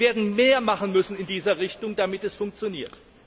Wir werden mehr machen müssen in dieser Richtung, damit es funktioniert.